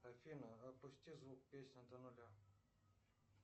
афина опусти звук песни до нуля